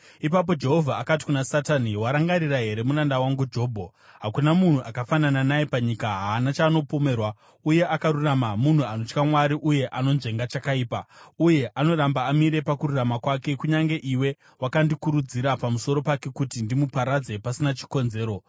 Ipapo Jehovha akati kuna Satani, “Warangarira here muranda wangu Jobho? Hakuna munhu akafanana naye panyika, haana chaanopomerwa uye akarurama, munhu anotya Mwari uye anonzvenga chakaipa. Uye anoramba amire pakururama kwake, kunyange iwe wakandikurudzira pamusoro pake kuti ndimuparadze pasina chikonzero.”